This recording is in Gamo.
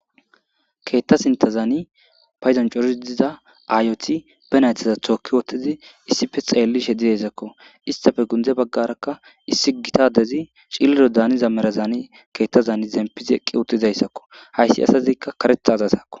keetta sintazaani payzan coridi diza aayoti be naythaza tookki wottizi issife xeellishe didesakko istafe gundize baggarakka issi gita adezi cilliro daaniza merazani keettazaani zempizi eqqi uttizayssakko hayssi asazikka karetha azasakko